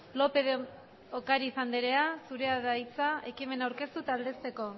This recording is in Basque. lópez de ocariz andrea zurea da hitza ekimena aurkeztu eta aldezteko